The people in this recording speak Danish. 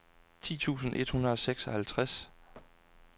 ti tusind et hundrede og seksoghalvtreds